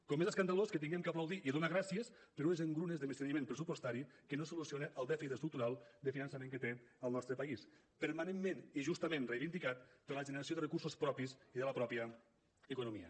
com és escandalós que haguem d’aplaudir i donar gràcies per unes engrunes de menysteniment pressupostari que no solucionen el dèficit estructural de finançament que té el nostre país permanentment i justament reivindicat per la generació de recursos propis i de la pròpia economia